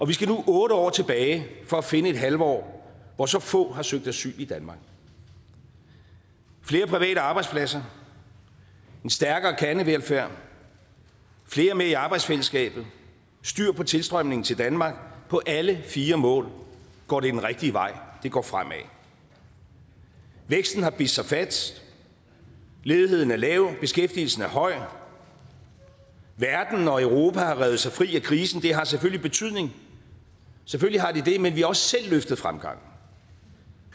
vi skal nu otte år tilbage for at finde et halvår hvor så få har søgt asyl i danmark flere private arbejdspladser en stærkere kernevelfærd flere med i arbejdsfællesskabet styr på tilstrømningen til danmark på alle fire mål går det den rigtige vej det går fremad væksten har bidt sig fast ledigheden er lav beskæftigelsen er høj verden og europa har revet sig fri af krisen og det har selvfølgelig betydning selvfølgelig har det det men vi har også selv løftet fremgangen